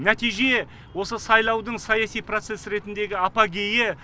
нәтиже осы сайлаудың саяси процесс ретіндегі апогейі